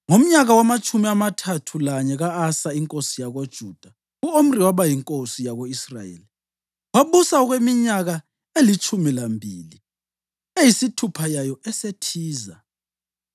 Ngomnyaka wamatshumi amathathu lanye ka-Asa inkosi yakoJuda, u-Omri waba yinkosi yako-Israyeli, wabusa okweminyaka elitshumi lambili, eyisithupha yayo eseThiza.